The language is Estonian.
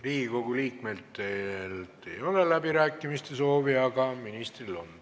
Riigikogu liikmetel ei ole läbirääkimiste soovi, aga ministril on.